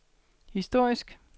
historisk